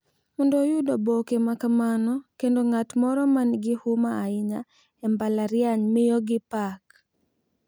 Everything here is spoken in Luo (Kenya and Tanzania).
Mondo oyud oboke ma kamano kendo ng’at moro ma nigi huma ahinya e mbalariany miyogi pak,